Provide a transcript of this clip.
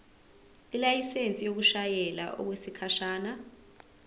ilayisensi yokushayela okwesikhashana